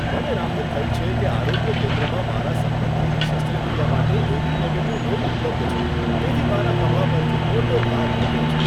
મને રાહત થઈ છે કે આરોગ્ય કેન્દ્રમાં મારા સંબંધીની શસ્ત્રક્રિયા માટે એ.બી. નેગેટીવ લોહી ઉપલબ્ધ છે. તેથી મારા ખભા પરથી મોટો ભાર ઘટ્યો છે.